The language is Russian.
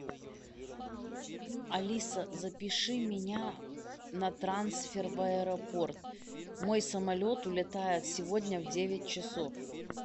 алиса запиши меня на трансфер в аэропорт мой самолет улетает сегодня в девять часов